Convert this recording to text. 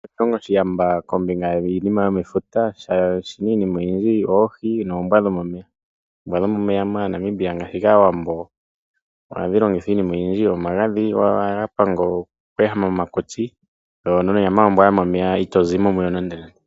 Oshilongo oshiyamba kombinga yiinima yomefuta, omuna iinima oyindji ngaashi oohi, noombwa dhomomeya , moNmaibia ngaashi kAawambo ohadhi longithwa iinima oyindji ngaashi omagadhi, ngoka haga panga omakutsi, na onyama yombwa yomomeya ombwaanawaa.